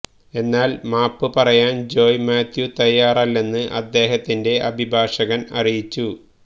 എന്നാൽ മാപ്പ് പറയാൻ ജോയ് മാത്യു തയ്യാറല്ലെന്ന് അദ്ദേഹത്തിന്റെ അഭിഭാഷകൻ അറിയിച്ചു